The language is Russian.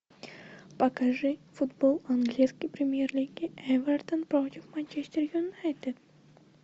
покажи футбол английской премьер лиги эвертон против манчестер юнайтед